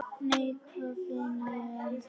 Nei, hvað finn ég!